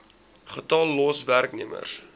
getal los werknemers